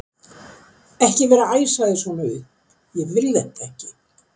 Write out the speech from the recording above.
ekki vera að æsa þig svona upp. ég vil þetta ekki!